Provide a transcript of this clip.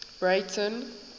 breyten